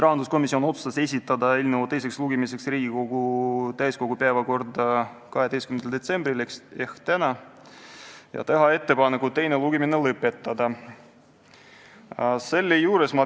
Rahanduskomisjon otsustas esitada eelnõu teiseks lugemiseks Riigikogu täiskogu päevakorda 12. detsembriks ehk tänaseks ja teha ettepaneku teine lugemine lõpetada.